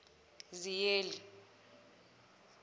ziyeli